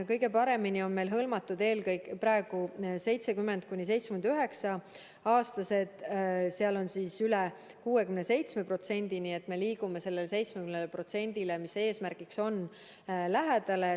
Kõige paremini on hõlmatud praegu eelkõige 70–79-aastased, neist on vaktsineeritud üle 67%, nii et oleme liikunud sellele 70%-le, mis on eesmärgiks, väga lähedale.